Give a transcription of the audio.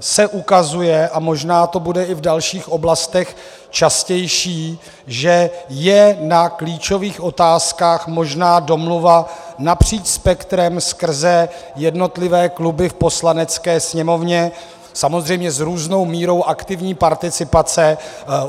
se ukazuje, a možná to bude i v dalších oblastech častější, že je na klíčových otázkách možná domluva napříč spektrem skrze jednotlivé kluby v Poslanecké sněmovně, samozřejmě s různou mírou aktivní participace.